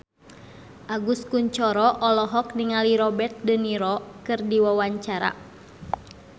Agus Kuncoro olohok ningali Robert de Niro keur diwawancara